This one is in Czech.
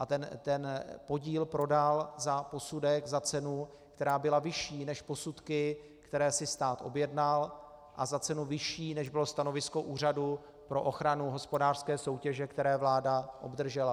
A ten podíl prodal za posudek, za cenu, která byla vyšší než posudky, které si stát objednal, a za cenu vyšší, než bylo stanovisko Úřadu pro ochranu hospodářské soutěže, které vláda obdržela.